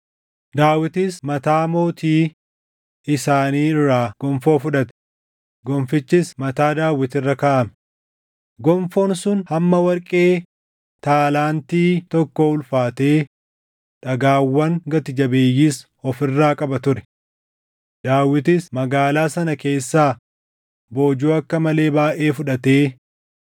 Daawitis mataa mootii isaanii irraa gonfoo fudhate; Gonfichis mataa Daawit irra kaaʼame. Gonfoon sun hamma warqee taalaantii tokkoo ulfaatee dhagaawwan gati jabeeyyiis of irraa qaba ture. Daawitis magaalaa sana keessaa boojuu akka malee baayʼee fudhatee